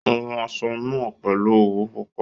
Ó hun aṣọ náà pèlú òwú pupa